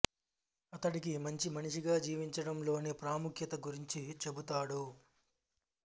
అతడికి మంచి మనిషిగా జీవించడం లోని ప్రాముఖ్యత గురించి చెబుతాడు